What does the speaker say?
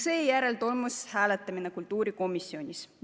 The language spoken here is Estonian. Seejärel toimus hääletamine kultuurikomisjonis.